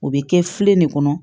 O bɛ kɛ filen de kɔnɔ